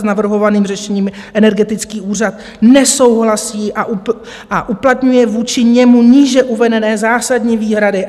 S navrhovaným řešením Energetický úřad nesouhlasí a uplatňuje vůči němu níže uvedené zásadní výhrady.